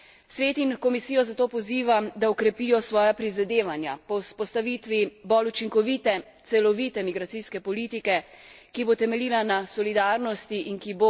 Svet in Komisijo zato pozivam, da okrepita svoja prizadevanja po vzpostavitvi bolj učinkovite, celovite migracijske politike, ki bo temeljila na solidarnosti in ki